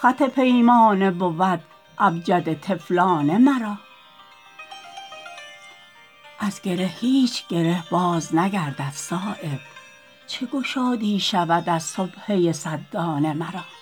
خط پیمانه بود ابجد طفلانه مرا از گره هیچ گره باز نگردد صایب چه گشادی شود از سبحه صد دانه مرا